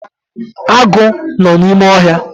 Agụ nọ n’ime ohia